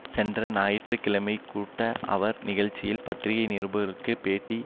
சென்ற ஞாயிற்று கிழமைக்கூட்ட அவர் நிகழ்ச்சியில் பத்திரிகை நிருபர்களுக்கு பேட்டி